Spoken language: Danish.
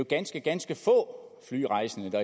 ganske ganske få flyrejsende der